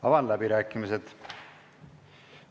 Avan läbirääkimised.